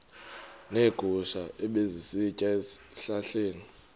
neegusha ebezisitya ezihlahleni